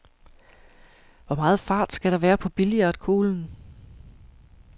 Hvor meget fart skal der være på billiardkuglen?